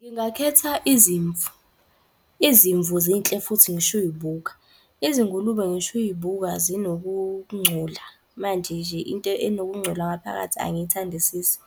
Ngingakhetha izimvu, izimvu zinhle futhi ngisho uy'buka. Izingulube ngisho uy'buka zinokungcola. Manje nje into enokungcola ngaphakathi angiyithandisisi